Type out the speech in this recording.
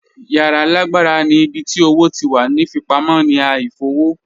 Yara laagbara ni ibi ti owo ti wa ni fipamọ ni a ifowo